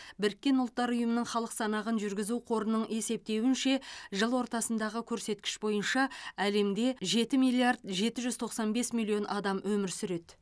біріккен ұлттар ұйымының халық санағын жүргізу қорының есептеуінше жыл ортасындағы көрсеткіш бойынша әлемде жеті миллиард жеті жүз тоқсан бес миллион адам өмір сүреді